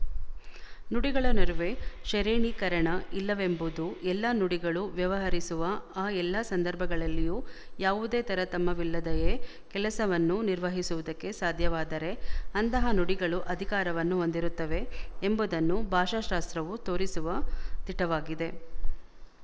ನುಡಿಗಳ ನಡುವೆ ಶರೇಣೀಕರಣ ಇಲ್ಲವೆಂಬುದು ಎಲ್ಲ ನುಡಿಗಳು ವ್ಯವಹರಿಸುವ ಆ ಎಲ್ಲ ಸಂದರ್ಭಗಳಲ್ಲಿಯೂ ಯಾವುದೇ ತರತಮವಿಲ್ಲದೆಯೇ ಕೆಲಸವನ್ನು ನಿರ್ವಹಿಸುವುದಕ್ಕೆ ಸಾಧ್ಯವಾದರೆ ಅಂತಹ ನುಡಿಗಳು ಅಧಿಕಾರವನ್ನು ಹೊಂದಿರುತ್ತವೆ ಎಂಬುದನ್ನು ಭಾಷಾಶಾಸ್ತ್ರವು ತೋರಿಸುವ ದಿಟವಾಗಿದೆ